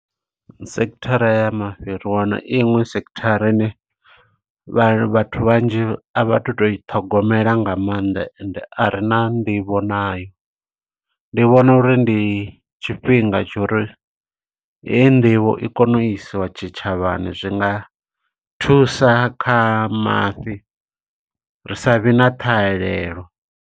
Sekithara ya mafhi ri wana iṅwe sekithara ine, vha vhathu vhanzhi a vha tu to i ṱhogomela nga maanḓa ende a rina nḓivho nayo. Ndi vhona uri ndi tshifhinga tsho uri heyi nḓivho i kone u isiwa tshitshavhani, zwi nga thusa kha mafhi, ri sa vhe na ṱhahelelo.